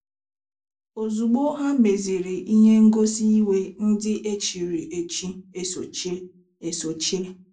Ozugbo ha meziri ihe ngosi iwe ndị echiri echi esochie. esochie.